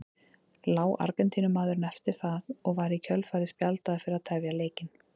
Lá Argentínumaðurinn eftir það og var í kjölfarið spjaldaður fyrir að tefja leikinn.